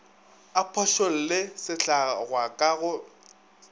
a phošolle sehlangwa ka go